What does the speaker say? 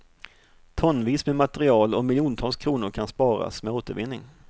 Tonvis med material och miljontals kronor kan sparas med återvinning.